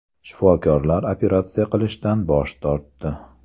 Shifokorlar operatsiya qilishdan bosh tortdi.